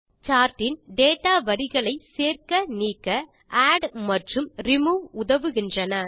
chart in data வரிகளை சேர்க்க நீக்க ஆட் மற்றும் ரிமூவ் உதவுகின்றன